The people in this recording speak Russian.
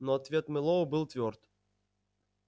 но ответ мэллоу был твёрд